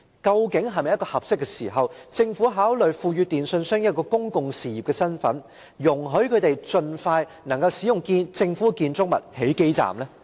現在是否已是合適的時候考慮賦予電訊營辦商一個公共事業營辦者的身份，讓他們能夠盡快在政府建築物內設置基站？